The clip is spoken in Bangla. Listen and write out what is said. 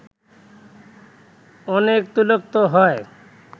অনেক তৈলাক্ত হয়